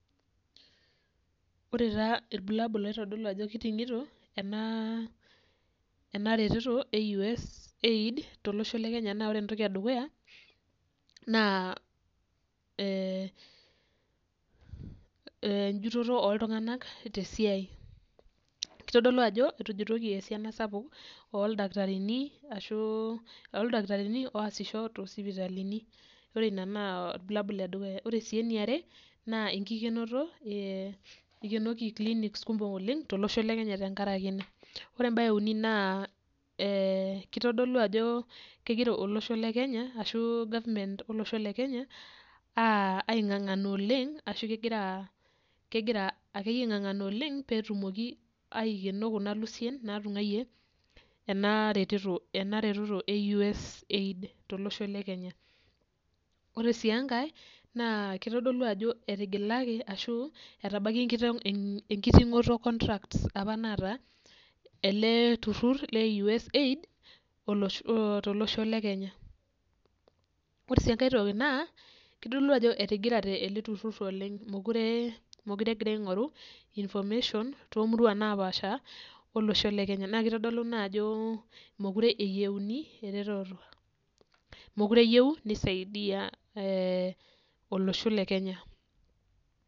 Ore taa irbulabul oitodolu ajo kiting'ito ena ena reteto e USAID tolosho le kenya naa ore entoki edukuya naa eh enjutoto oltung'anak tesiai kitodolu ajo etujutoki esiana sapuk oldakitarini ashu oldakitarini oasisho tosipitalini ore ina naa orbulabul ledukuya ore sii eniare naa enkikenoto eh ikenoki clinics kumok oleng tolosho le kenya tenkarakie ena ore embaye euni naa eh kitodolu ajo kegira olosho le kenya ashu government olosho le kenya uh aing'ang'ana oleng ashu kegira kegira akeyie aing'ang'ana oleng petumoki aikeno kuna lusien natung'uayie ena reteto ena reteto e USAID tolosho le kenya ore sii enkae naa kitodolu ajo etigilaki ashu etabakia enkiteng enkiting'oto contracts apa naata ele turrur le USAID olosh tolosho le kenya ore sii enkae toki naa kitodolu ajo etigirate ele turrur oleng mukure mokire egira aing'oru information tomurua napaasha olosho le kenya naa kitodolu ina ajo mokure eyieuni eretoto mokure eyieu nisaidia eh olosho le kenya.